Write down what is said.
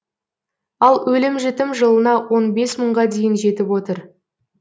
ал өлім жітім жылына он бес мыңға дейін жетіп отыр